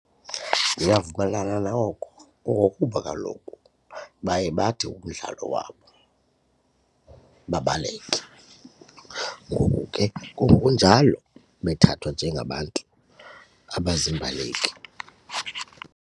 Ndiyavumelana noko ngokuba kaloku baye bathi umdlalo wabo babaleke ngoku ke kungokunjalo bethathwa njengabantu abaziimbaleki.